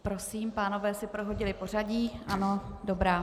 Prosím, pánové si prohodili pořadí, ano, dobrá.